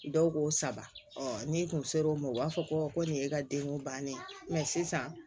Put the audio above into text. Dɔw ko saba ni kun ser'o ma o b'a fɔ ko nin ye e ka denko bannen ye mɛ sisan